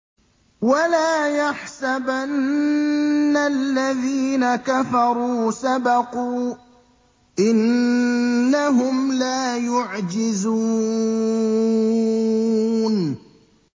وَلَا يَحْسَبَنَّ الَّذِينَ كَفَرُوا سَبَقُوا ۚ إِنَّهُمْ لَا يُعْجِزُونَ